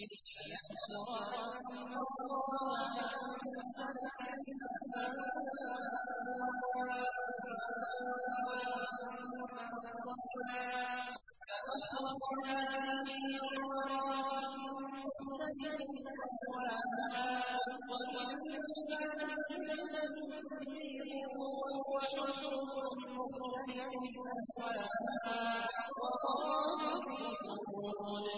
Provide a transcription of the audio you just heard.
أَلَمْ تَرَ أَنَّ اللَّهَ أَنزَلَ مِنَ السَّمَاءِ مَاءً فَأَخْرَجْنَا بِهِ ثَمَرَاتٍ مُّخْتَلِفًا أَلْوَانُهَا ۚ وَمِنَ الْجِبَالِ جُدَدٌ بِيضٌ وَحُمْرٌ مُّخْتَلِفٌ أَلْوَانُهَا وَغَرَابِيبُ سُودٌ